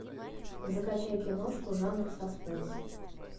закачай киношку жанра саспенс